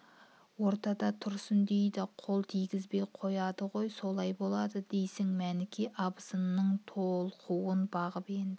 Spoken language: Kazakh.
ортада тұрсын дейді де қол тигізбей қояды гой солай болады дейсің мәніке абысынының толқуын бағып енді